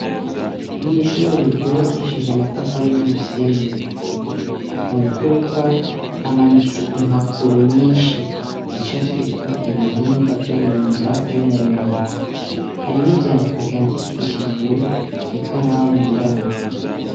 Mw'ishure ryubakishije amatafari n'umusenyi. Mu mfuruka hamanitse impapuro nyinshi zicafyeko ibihimba vyo mu nda v'umuntu. Hari n'ivyandiko vyandikishijwe ikaramu yirabura.